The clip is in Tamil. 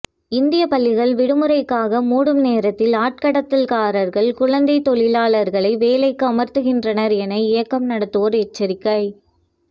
இந்தியப் பள்ளிகள் விடுமுறைக்காக மூடும் நேரத்தில் ஆட்கடத்தல்காரர்கள் குழந்தைத் தொழிலாளர்களை வேலைக்கு அமர்த்துகின்றனர் என இயக்கம் நடத்துவோர் எச்சரிக்கை